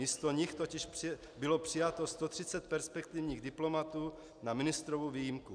Místo nich totiž bylo přijato 130 perspektivních diplomatů na ministrovu výjimku.